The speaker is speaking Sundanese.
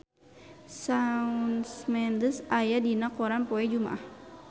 Shawn Mendes aya dina koran poe Jumaah